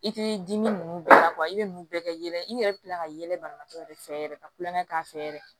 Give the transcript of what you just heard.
I t'i dimi ninnu bɛɛ la i bɛ nunnu bɛɛ kɛ yɛlɛ i yɛrɛ bɛ tila ka yɛlɛ banabaatɔ yɛrɛ fɛ yɛrɛ ka kulonkɛ k'a fɛ yɛrɛ